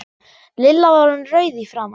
Lilla var orðin rauð í framan.